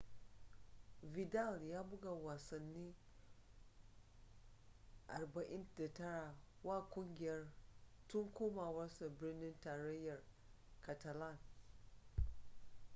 vidal ya buga wasanni 49 wa kungiyar tun komawarsa birnin tarayyar catalan